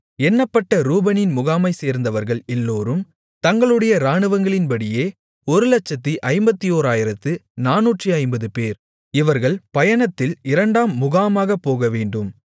எண்ணப்பட்ட ரூபனின் முகாமைச்சேர்ந்தவர்கள் எல்லோரும் தங்களுடைய இராணுவங்களின்படியே 151450 பேர் இவர்கள் பயணத்தில் இரண்டாம் முகாமாகப் போகவேண்டும்